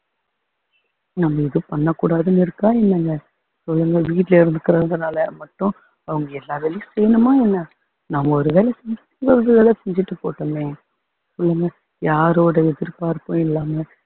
நம்ம எதுவும் பண்ணக் கூடாதுன்னு இருக்கா என்னங்க ஒழுங்கா வீட்டுல இருந்துக்கிறதுனால மட்டும் அவங்க எல்லா வேலையும் செய்யணுமா என்ன நம்ம ஒரு வேலை செஞ்சுட்டு அவங்க ஒரு வேலை செஞ்சுட்டு போகட்டுமே சொல்லுங்க யாரோட எதிர்பார்ப்பும் இல்லாம